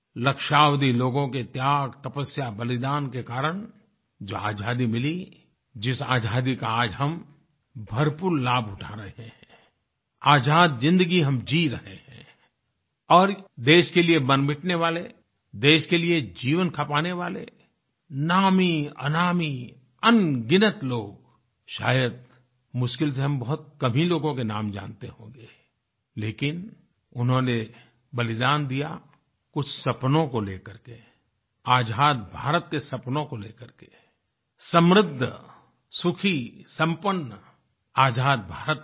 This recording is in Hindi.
लक्ष्यावधि लोगों के त्याग तपस्या बलिदान के कारण जहाँ आज़ादी मिली जिस आज़ादी का हम भरपूर लाभ उठा रहे हैं आज़ाद ज़िन्दगी हम जी रहे हैं और देश के लिए मरमिटने वाले देश के लिए जीवन खपाने वाले नामीअनामी अनगिनत लोग शायद मुश्किल से हम बहुत कम ही लोगों के नाम जानते होंगे लेकिन उन्होंने बलिदान दिया उस सपनों को ले करके आज़ाद भारत के सपनों को ले करके समृद्ध सुखी सम्पन्न आज़ाद भारत के लिए